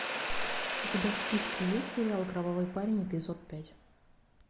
у тебя в списке есть сериал кровавый парень эпизод пять